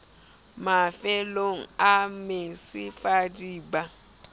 mafellong a mesifa di ba